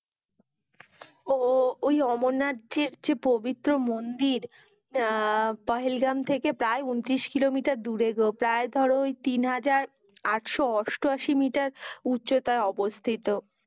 ও ওই অমরনাথ যে পবিত্র মন্দির আহ পহেলগ্রাম থেকে প্রায় ঊনত্রিশ কিলোমিটার দূরে গো। প্রায় ধরো তিন হাজার আটশো অষ্টআশি আটাশি মিটার উচ্চতায় অবস্থিত।